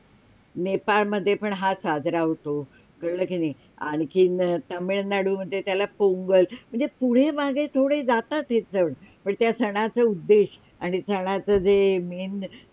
नेपाळ मध्ये पण साजरा होतो कळलं कि नाय आणखी तामिळनाडूमध्ये त्याला पोंगल म्हणजे पुढे - मागे थोडे जातात हे सण पण त्या सणाचा उद्देश आणि सणाचा जे main